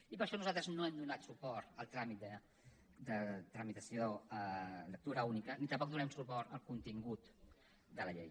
i per això nosaltres no hem donat suport a la tramitació en lectura única ni tampoc donarem suport al contingut de la llei